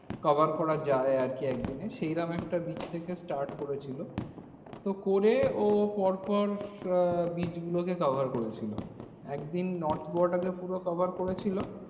Cover করা যায় আরকি একদিনে সেইরকম একটা beach থেকে start করেছিল। তো করে ও পর পর আহ beach গুলোকে cover করেছিল। একদিন north গোয়াটাকে পুরো cover করেছিল।